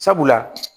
Sabula